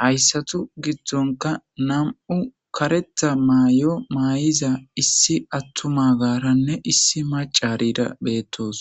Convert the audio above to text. hayssathu giddonkka nam7u kareththa maayo maayiza issi aththumaagaaranne issi maccaariira beeththoos.